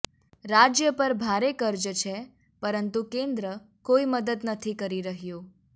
રાજ્ય પર ભારે કર્જ છે પરંતુ કેન્દ્ર કોઈ મદદ નથી કરી રહ્યું